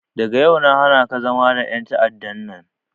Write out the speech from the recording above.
Daga yau na hanaka zama da en ta'adda nan!